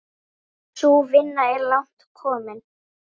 Sú vinna er langt komin.